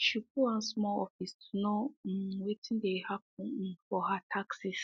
she go one small office to know um wetin dey happen um for her taxes